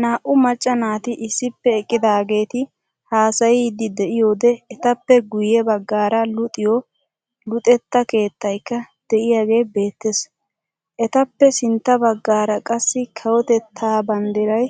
Naa"u macca naati issippe eqqidaageeti haasayiidi de'iyoode etappe guyye baggaara luxxiyoo luxetta keettaykka de'iyaagee beettees. etappe sintta baggaara qassi kawotettaa banddiray